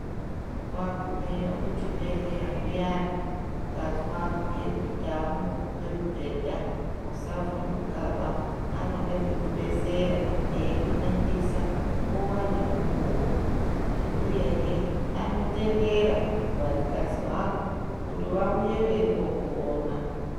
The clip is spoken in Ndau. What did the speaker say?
Wagumeyo kuchibhedhleya zviyani ukazwa abhuya kuti takumbomupa mubhedha usavhundukaba anoda kukudetsera eikuningisa nguwa nemukuwo uyehe anotendera vanikazi vako kuti vauye veimbokuona.